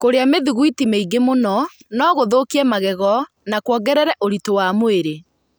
Kũrĩa mĩthugwiti nyingĩ mũno no gũthũkie magego na kwongerere ũritũ wa mwĩrĩ.